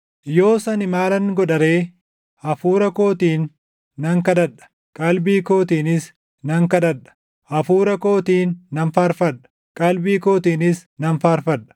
Yoos ani maalan godha ree? Hafuura kootiin nan kadhadha; qalbii kootiinis nan kadhadha; hafuura kootiin nan faarfadha; qalbii kootiinis nan faarfadha.